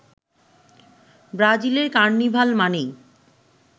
ব্রাজিলের কার্নিভাল মানেই